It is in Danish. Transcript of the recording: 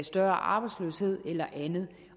større arbejdsløshed eller andet